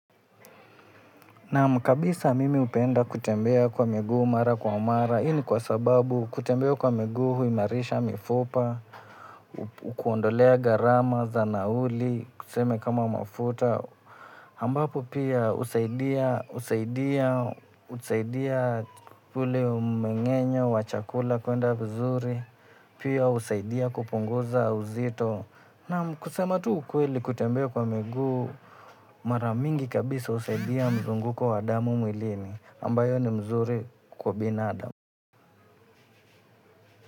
Naam, kabisa mimi hupenda kutembea kwa miguu mara kwa mara. Hii ni kwa sababu kutembea kwa miguu huimarisha mifupa, ukuondolea gharama za nauli, tuseme kama mafuta. Ambapo pia husaidia, husaidia, husaidia, husaidia ule umengenye wa chakula kuenda vizuri, pia husaidia kupunguza uzito. Naam, kusema tu ukweli kutembea kwa miguu, maramingi kabisa husaidia mzunguko wa damu mwilini, ambayo ni mzuri kwa binadamu.